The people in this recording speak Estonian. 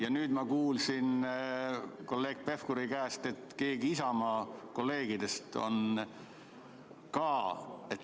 Ja nüüd ma kuulsin kolleeg Pevkuri käest, et keegi Isamaa kolleegidest on ka kahtlusalune.